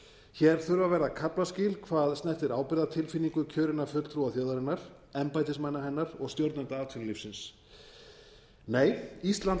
hér þurfa að verða kaflaskil hvað snertir ábyrgðartilfinningu kjörinna fulltrúa þjóðarinnar embættismanna hennar og stjórnenda atvinnulífsins nei ísland